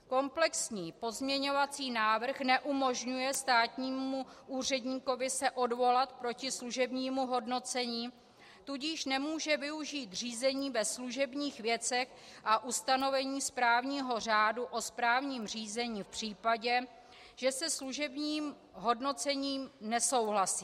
Komplexní pozměňovací návrh neumožňuje státnímu úředníkovi se odvolat proti služebnímu hodnocení, tudíž nemůže využít řízení ve služebních věcech a ustanovení správního řádu o správním řízení v případě, že se služebním hodnocením nesouhlasí.